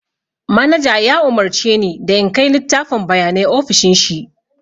Manaja ya umurce ni da in kai littafin bayanai ofishin shi